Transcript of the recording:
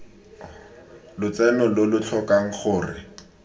lotseno lo lo tlhokang gore